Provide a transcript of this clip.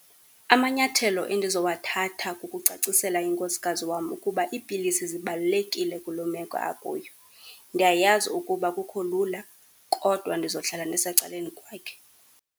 Amanyathelo endizowathatha kukucacisela inkosikazi wam ukuba iipilisi zibalulekile kuloo meko akuyo. Ndiyayazi ukuba akukho lula, kodwa ndizohlala ndisecaleni kwakhe.